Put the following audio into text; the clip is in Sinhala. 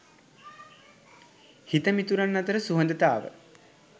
හිතමිතුරන් අතර සුහදතාව